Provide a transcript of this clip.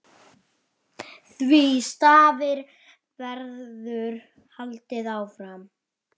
Því starfi verður haldið áfram.